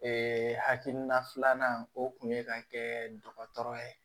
hakilina filanan o kun ye ka kɛ dɔgɔtɔrɔ ye